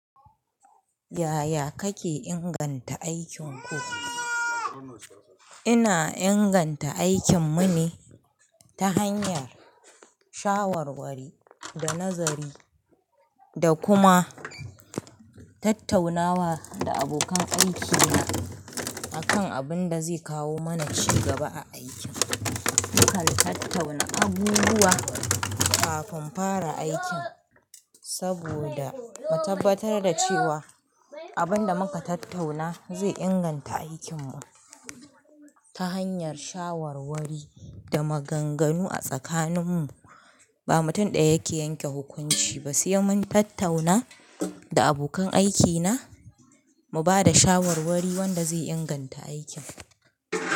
Yaya kake inganta aikin ku? Ina inganta aikin mu ne, ta hanyar shawarwari, da nazari da kuma tattaunawa da abokan aikina, akan abin da zai kawo mana ci gaba a aikin. Mukan tattauna abubuwa kafin fara aikin, saboda mu tabbatar da cewa abin da muka tattauna zai inganta aikin mu ta hanyar shawarwari da maganganu a tsakanin mu. Ba mutum ɗaya ke yanke hukunci ba, sai mun tattauna da abokan aikina mu ba da shawarwari wanda zai inganta aikin.